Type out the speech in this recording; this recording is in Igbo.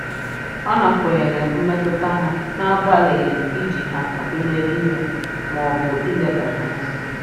Ọ nakweere mmetụta ha n'agbalịghị iji ha atụnyere ihe maọbụ ileda ha anya.